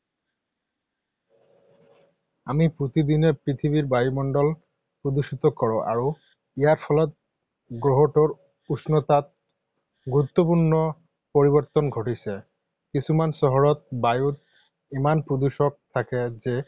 আমি প্ৰতিদিনে পৃথিৱীৰ বায়ুমণ্ডল প্ৰদূষিত কৰোঁ আৰু ইয়াৰ ফলত গ্ৰহটোৰ উষ্ণতাত গুৰুত্বপূৰ্ণ পৰিৱৰ্তন ঘটিছে। কিছুমান চহৰত বায়ুত ইমান প্ৰদূষক থাকে যে